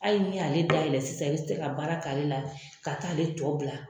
Ali n'i y'a dayɛlɛn sisan i bi se ka baara k'a la ka taa ale tɔ bila.